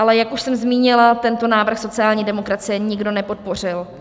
Ale jak už jsem zmínila, tento návrh sociální demokracie nikdo nepodpořil.